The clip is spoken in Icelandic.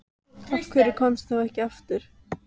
Af hverju komstu þá ekki aftur?